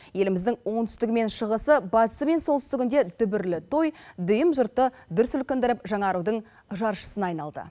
еліміздің оңтүстігі мен шығысы батысы мен солтүстігінде дүбірлі той дүйім жұртты дүр сілкіндіріп жаңарудың жаршысына айналды